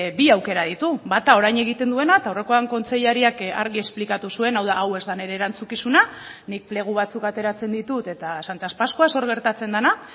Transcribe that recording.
bi aukera ditu bata orain egiten duena eta aurrekoan kontseilariak argi esplikatu zuen hau da hau ez da nire erantzukizuna nik plegu batzuk ateratzen ditut eta santas pascuas hor gertatzen dena